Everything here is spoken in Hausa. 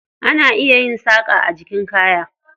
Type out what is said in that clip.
Ana iya saƙa a jikin kaya.